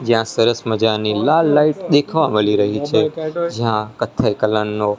જ્યાં સરસ મજાની લાલ લાઇટ દેખવા મલી રહી છે જ્યાં કથ્થઈ કલર નો--